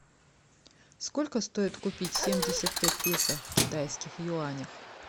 сколько стоит купить семьдесят пять песо в китайских юанях